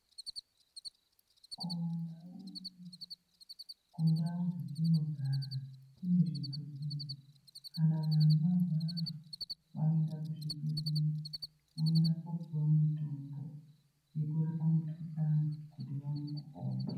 Kumandau unono kundau dzetinogara kunezvibhehleya kana vanhu varwara vanoenda kuzvibhehlera vanoenda kopiwe mitombo yekurapa mikhuhlani kuti vaone kupona.